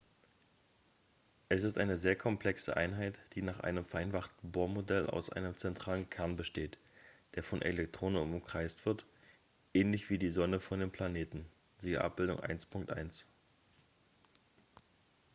es ist eine sehr komplexe einheit die nach einem vereinfachten bohr-modell aus einem zentralen kern besteht der von elektronen umkreist wird ähnlich wie die sonne von den planeten siehe abbildung 1.1